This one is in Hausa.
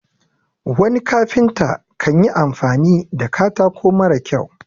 wani kafinta kan yi amfani da katako mara kyau